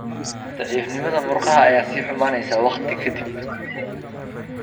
Daciifnimada murqaha ayaa sii xumaanaysa waqti ka dib.